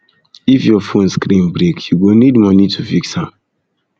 if your fone screen break you go need moni to fix am